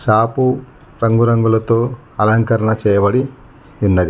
Shop రంగురంగులతో అలంకరణ చేయబడి ఉన్నది.